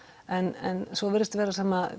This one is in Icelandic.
en svo virist vera sem